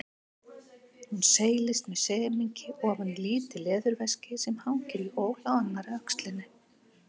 Hún seilist með semingi ofan í lítið leðurveski sem hangir í ól á annarri öxlinni.